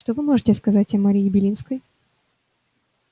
что вы можете сказать о марии белинской